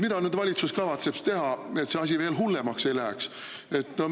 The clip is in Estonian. Mida valitsus kavatseb teha, et see asi veel hullemaks ei läheks?